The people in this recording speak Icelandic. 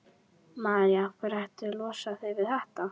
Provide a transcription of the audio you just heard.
María: Af hverju ertu að losa þig við þetta?